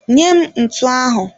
Nye m ntu ahụ!